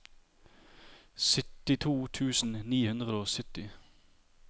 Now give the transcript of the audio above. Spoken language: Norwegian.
syttito tusen ni hundre og sytti